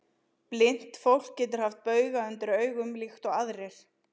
Blint fólk getur haft bauga undir augum líkt og aðrir.